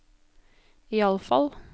iallfall